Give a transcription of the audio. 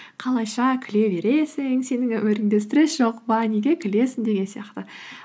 қалайша күле бересің сенің өміріңде стресс жоқ па неге күлесің деген сияқты